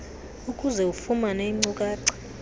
ukuze ufumane iinkcukacha